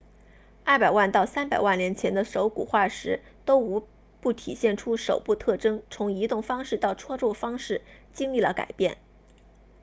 200万到300万年前的手骨化石都无不体现出手部特征从移动方式到操作方式经历了改变